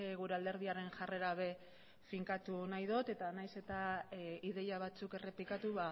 gure alderdiaren jarrera be finkatu nahi dot eta nahiz eta ideia batzuk errepikatu